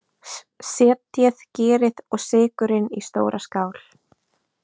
Setjið gerið og sykurinn í stóra skál.